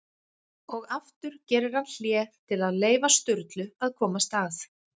Og aftur gerir hann hlé til að leyfa Sturlu að komast að.